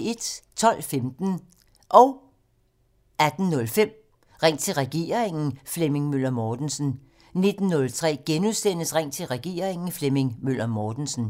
12:15: Ring til regeringen: Flemming Møller Mortensen 18:05: Ring til regeringen: Flemming Møller Mortensen * 19:03: Ring til regeringen: Flemming Møller Mortensen *